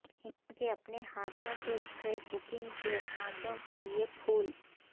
ان کے اپنے ہاتھوں سے اسکریپ بکنگ کے سانچوں کے لئے پھول